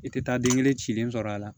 I tɛ taa den kelen cilen sɔrɔ a la